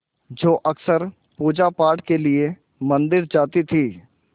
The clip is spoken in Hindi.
जो अक्सर पूजापाठ के लिए मंदिर जाती थीं